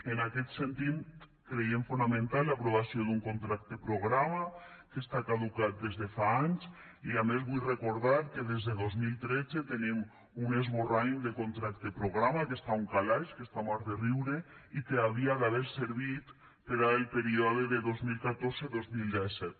en aquest sentit creiem fonamental l’aprovació d’un contracte programa que està caducat des de fa anys i a més vull recordar que des de dos mil tretze tenim un esborrany de contracte programa que està a un calaix que està mort de riure i que hauria d’haver servit per al període de dos mil catorze dos mil disset